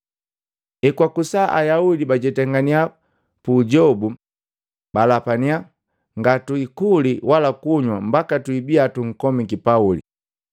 Hekwakusa, Ayaudi bajetangania puujobu. Balapania, “Ngatuikuli wala kunywa mbaka patwibiya tunkomiki Pauli.”